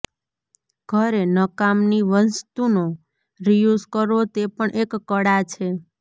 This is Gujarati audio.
ઘરે નકામની વસ્તુંનો રિયૂઝ કરવો તે પણ એક કળા છે